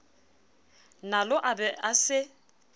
nalo a be a se